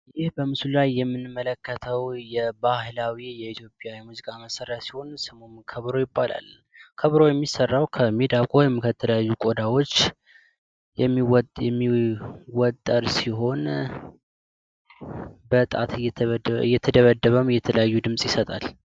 ይህ በምስሁ ላይ የምንመለከተዉ የባህላዊ የኢትዮጵያ የሙዚቃ መሳሪያ ሲሆን ከበሮ ይባላል። ከበሮ የሚሰራዉ ከሚዳቋ ወይም ከተለያዩ ቆዳዎች የሚወጠር ሲሆን በእጣት እየተደበደበ የተለያየ ድምፅ ይሰጣል።